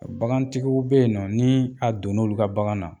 Bagantigiw be yen nɔ nii a donn"olu ka bagan na